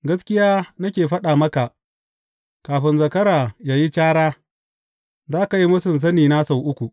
Gaskiya nake faɗa maka, kafin zakara yă yi cara, za ka yi mūsun sanina sau uku!